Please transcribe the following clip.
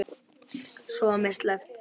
Svo var mér sleppt.